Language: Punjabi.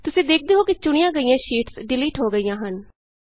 ਤੁਸੀਂ ਦੇਖਦੇ ਹੋ ਕਿ ਚੁਣੀਆ ਗਈਆਂ ਸ਼ੀਟਸ ਡਿਲੀਟ ਹੋ ਗਈਆਂ ਹਨ